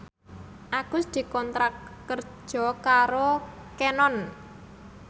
Agus dikontrak kerja karo Canon